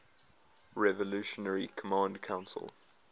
revolutionary command council